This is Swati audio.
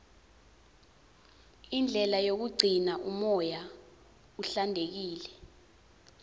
indlela yokugcina umoya uhlantekile